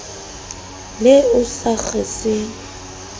le o sa kgeseng e